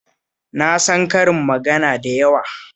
Na san karin magana da yawa